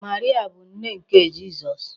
Maria bụ nne nke Jizọs.